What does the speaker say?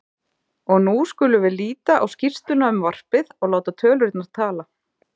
Og nú skulum við líta á skýrsluna um varpið og láta tölurnar tala